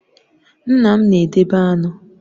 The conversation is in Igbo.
Nna m na-edebe aṅụ